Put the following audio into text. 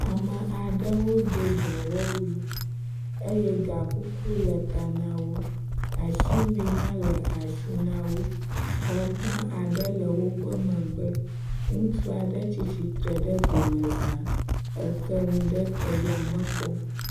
ame aɖewo dó dɔwɔwu eye gakuku le ta nawo, asiwui hã le asi nawo xɔ gã aɖe le wóƒe megbe ŋutsuaɖe tsítsitre ɖe domezã e keŋu ɖe te yame kpɔm